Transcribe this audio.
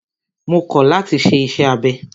Mo kọ̀ láti ṣe iṣẹ́ abẹ!